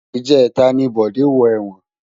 Ijètá ni Bode wò èwòn